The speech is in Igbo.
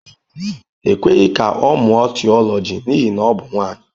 E kweghị ka ọ mụọ Theology n'ihi na ọ bụ nwanyị.